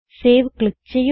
save click ചെയ്യുക